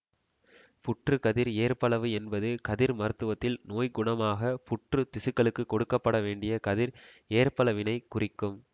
புற்று கதிர் ஏற்பளவு என்பது கதிர் மருத்துவத்தில் நோய்குணமாக புற்றுத் திசுக்களுக்கு கொடுக்க பட வேண்டிய கதிர் ஏற்பளவினை குறிக்கும்